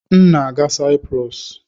M na-aga Saịprọs.